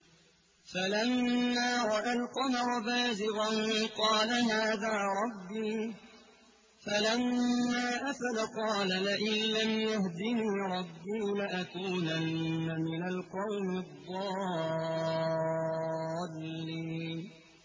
فَلَمَّا رَأَى الْقَمَرَ بَازِغًا قَالَ هَٰذَا رَبِّي ۖ فَلَمَّا أَفَلَ قَالَ لَئِن لَّمْ يَهْدِنِي رَبِّي لَأَكُونَنَّ مِنَ الْقَوْمِ الضَّالِّينَ